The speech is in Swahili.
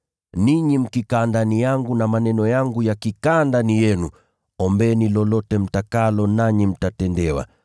Ninyi mkikaa ndani yangu na maneno yangu yakikaa ndani yenu, ombeni lolote mtakalo, nanyi mtatendewa.